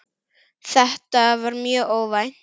Þetta var mjög óvænt.